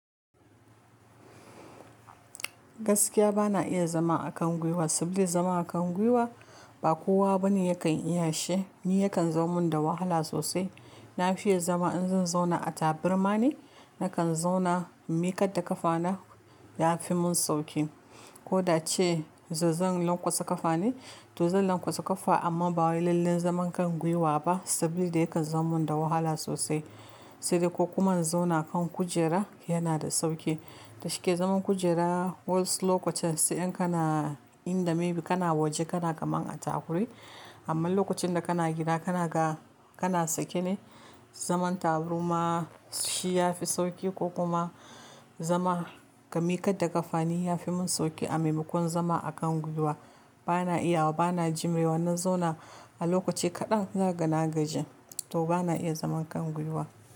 Gaskiya bana iya zama a kan gwiwa, saboda zama a kan gwiwa ba kowa bane yakan iya shi. Ni yakan zamu min da wahala sosai. Na fiye zama in zan zauna a taburma ne, na kan zauna in miƙar da ƙafa na ya fi mun sauƙi. Ko da ce zazan lanƙwatsa ƙafa ne, to zan lanƙwatsa ƙafa amma ba lallai zaman kan gwiwa ba, saboda yakan zamu min da wahala sosai. Sai dai ko kuma in zauna kan kujera yana da sauƙi. Da shike zaman kujera wasu lokacin sai in kana in the maybe kana waje kana kaman a takuri. Amma lokacin da kana gida kana ka, kana sake ne. Zaman taburma shi ya fi sauƙi ko kuma zama ga miƙar da ƙafa ne ya fi mun sauƙi a maimakon zama a kan gwiwa. Bana iya wa, bana jimre wa na zauna a lokaci kaɗan na gan na gaji. To bana iya zaman kan gwiwa.